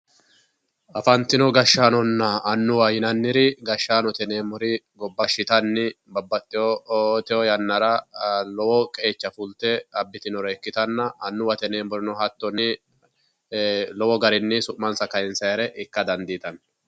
afantino gashshaanonna annuwaho yinanniri gashshanote yineemmori gashshitanni babbaxitewo yannara lowo qeecha afidhe abbitinore ikkitanna annuwate yineemmorino hattonni ee lowo garinni su'mansa kayiinsannire ikka dandiitanno.